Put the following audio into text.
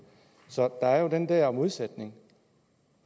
så der er jo den der modsætning